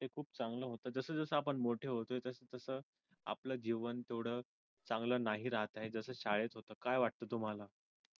तसं तेच खूप चांगला आहे पण जसजसे आपण मोठे होतोय तसतसं आपलं जीवन थोडं चांगलं नाही राहत आहे तसेच शाळेत काय वाटत तुम्हाला